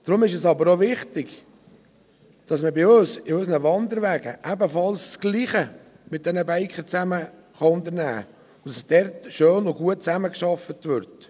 Deshalb ist es aber auch wichtig, dass man bei uns, in Bezug auf unsere Wanderwege, das Gleiche unternehmen kann und mit diesen Bikern schön und gut zusammenarbeitet.